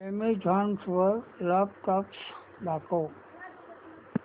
Amazon वर laptops दाखव